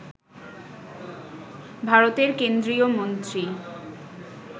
ভারতের কেন্দ্রীয় মন্ত্রী